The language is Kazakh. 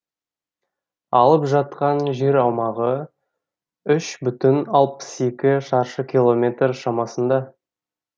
алып жатқан жер аумағы үш бүтін алпыс екі шаршы километр шамасында